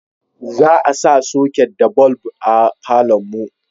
za a sa soket da bulb a falon mu